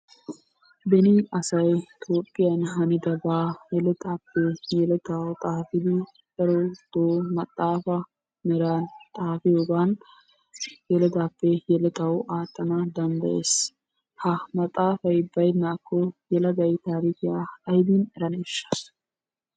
Beni asay Toophiyan hanidaaba yelettappe yeletawu xaafidi darotoo maxaafa meran xafiyoogan yelettappe yelettawu aattan danddaayees. Ha maxaafay baynnakko yelegay taarikkiya aybbin eraneshsha?